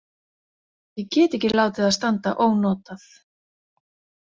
Ég get ekki látið það standa ónotað.